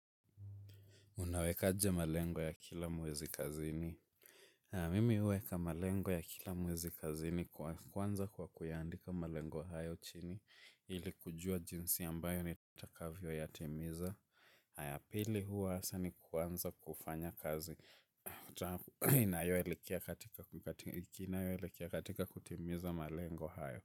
Unaweka aje malengo ya kila mwezi kazini? Mimi huweka malengo ya kila mwezi kazini kwanza kwa kuyaandika malengo hayo chini. Ili kujua jinsi ambayo ni takavyo yatimiza. Haya pili huwa hasaa ni kuanza kufanya kazi. Nina yo elekia katika kutimiza malengo hayo.